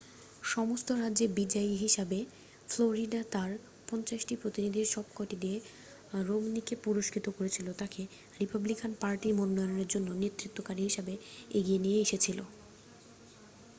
সমস্ত রাজ্যে বিজয়ী হিসাবে ফ্লোরিডা তার পঞ্চাশটি প্রতিনিধির সবকটি দিয়ে রোমনিকে পুরস্কৃত করেছিল তাকে রিপাবলিকান পার্টির মনোনয়নের জন্য নেতৃত্বকারী হিসাবে এগিয়ে নিয়ে এসেছিল